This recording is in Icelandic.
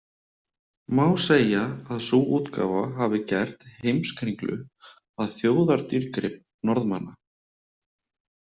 Má segja að sú útgáfa hafi gert „Heimskringlu“ að þjóðardýrgrip Norðmanna.